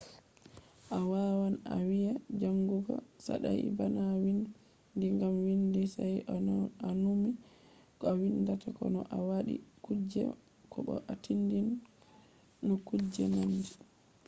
a wawan a wiya jangugo saɗai bana windi gam windi saito a numi ko a windata ko no a waɗi kuje ko bo a tindan no kuje nandi